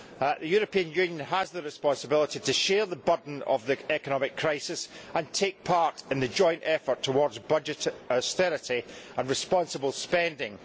The European Union has the responsibility to share the burden of the economic crisis and take part in the joint effort towards budget austerity and responsible spending.